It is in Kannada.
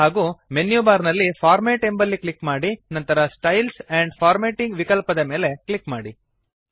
ಹಾಗೂ ಮೆನ್ಯುಬಾರ್ ನಲ್ಲಿ ಫಾರ್ಮ್ಯಾಟ್ ಎಂಬಲ್ಲಿ ಕ್ಲಿಕ್ ಮಾಡಿ ನಂತರ ಸ್ಟೈಲ್ಸ್ ಆಂಡ್ ಫಾರ್ಮ್ಯಾಟಿಂಗ್ ವಿಕಲ್ಪದ ಮೇಲೆ ಕ್ಲಿಕ್ ಮಾಡಿ